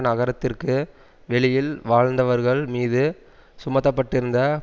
நகரத்திற்கு வெளியில் வாழ்ந்தவர்கள் மீது சுமத்தப்பட்டிருந்த